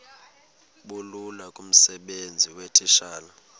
bulula kumsebenzi weetitshala